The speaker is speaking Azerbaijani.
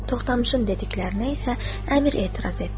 Toxdamışın dediklərinə isə əmir etiraz etdi.